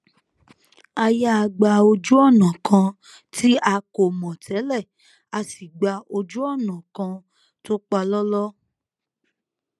a yà gba ojúònà kan tí a kò mò télè a sì gba ojú ònà kan tó palọ́lọ́